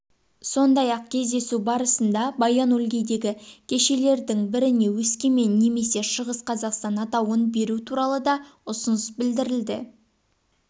сондай-ақ кездесу барысында баян-өлгейдегі көшелердің біріне өскемен немесе шығыс қазақстан атауын беру туралы да ұсыныс білдірілді